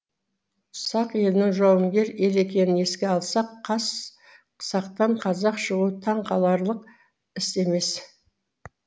сақ елінің жауынгер ел екенін еске алсақ қас сақтан қазақ шығуы таң қаларлық іс емес